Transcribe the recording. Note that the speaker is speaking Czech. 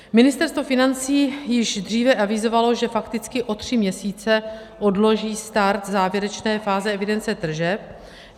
Ministerstvo financí již dříve avizovalo, že fakticky o tři měsíce odloží start závěrečné fáze evidence tržeb.